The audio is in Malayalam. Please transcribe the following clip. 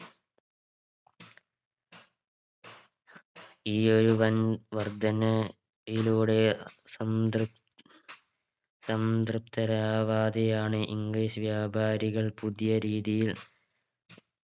ഈ ഒരു വൻ വർധന യിലൂടെ സംതൃപ് സംതൃപ്തരാവാതെയാണ് English വ്യാപാരികൾ പുതിയ രീതിയിൽ